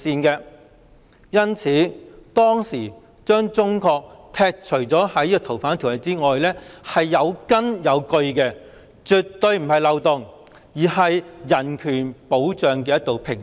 因此，當時把中國剔除在《逃犯條例》以外是有根有據的，絕對不是漏洞，而是保障人權的一道屏障。